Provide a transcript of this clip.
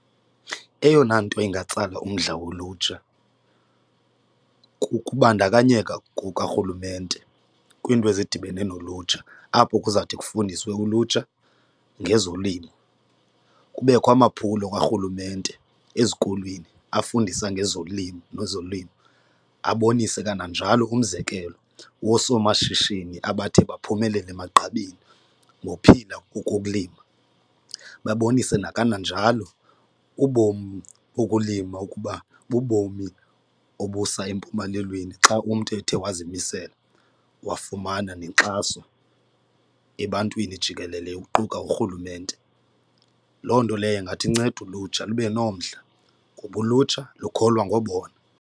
Eyona nto ingatsala umdla wolutsha kukubandakanyeka kukarhulumente kwiinto ezidibene nolutsha, apho kuzawuthi kufundiswe ulutsha ngezolimo kubekho amaphulo karhulumente ezikolweni afundisa ngezolimo nezolimo abonise kananjalo umzekelo woosomashishini abathe baphumelele emagqabini ngophila ngokukulima. Babonise nakananjalo ubomi bokulima ukuba bubomi obusa empumelelweni xa umntu ethe wazimisela wafumana nenkxaso ebantwini jikelele kuquka urhulumente. Loo nto leyo ingathi inceda ulutsha lube nomdla ngoba ulutsha lukholwa ngobona.